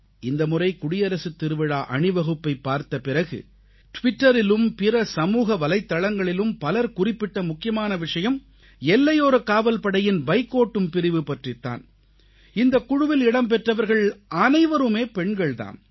இந்த முறை குடியரசுத் திருவிழா அணிவகுப்பைப் பார்த்த பிறகு டிவிட்டரிலும் பிற சமூக வலைத்தளங்களிலும் பலர் குறிப்பிட்ட முக்கியமான விஷயம் எல்லையோரக் காவல்படையின் பைக் ஓட்டும் பிரிவு பற்றித் தான் இந்தக் குழுவில் இடம்பெற்றவர்கள் அனைவருமே பெண்கள் தாம்